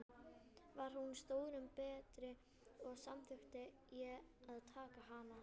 Var hún stórum betri, og samþykkti ég að taka hana.